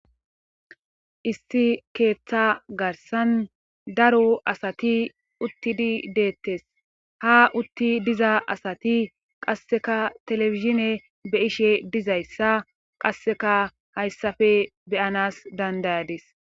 isti keeththa garsan daro asati uttidi deettes ha utti diza asati qasseka telefishine be' ishe dizayssa qasseka hayssafe beyanas dandayadis